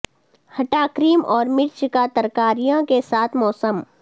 ھٹا cream اور مرچ کا ترکاریاں کے ساتھ موسم